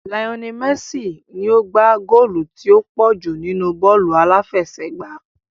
Lionel Messi ni ó gbá góòlù tí ó pọ̀ jù nínú bọ́ọ̀lù aláfẹsẹ̀gbá